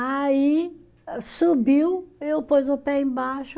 Aí, subiu, eu pus o pé embaixo.